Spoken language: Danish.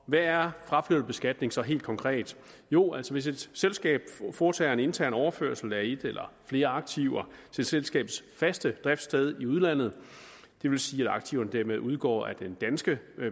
hvad er fraflytterbeskatning så helt konkret jo altså hvis et selskab foretager en intern overførsel af et eller flere aktiver til selskabets faste driftssted i udlandet det vil sige at aktiverne dermed udgår af den danske